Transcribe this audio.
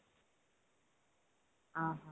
ଓଃ ହୋ